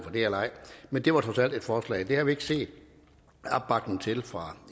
men det var trods alt et forslag det har ikke vi ikke set opbakning til fra